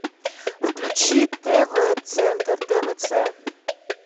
включи тв центр твц